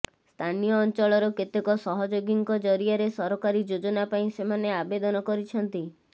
ସ୍ଥାନୀୟ ଅଂଚଳର କେତେକ ସହଯୋଗୀଙ୍କ ଜରିଆରେ ସରକାରୀ ଯୋଜନା ପାଇଁ ସେମାନେ ଆବେଦନ କରିଛନ୍ତି